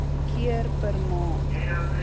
keer per maand